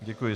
Děkuji.